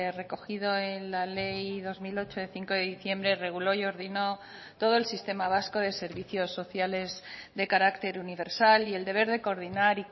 recogido en la ley dos mil ocho de cinco de diciembre reguló y ordinó todo el sistema vasco de servicios sociales de carácter universal y el deber de coordinar